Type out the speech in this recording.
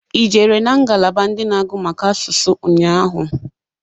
I jere na ngalaba ndị na-agụ maka asụsụ nnya ahụ?